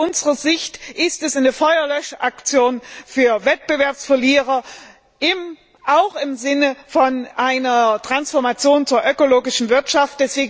Aus unserer Sicht ist es eine Feuerlöschaktion für Wettbewerbsverlierer auch im Sinne von einer Transformation in eine ökologische Wirtschaft.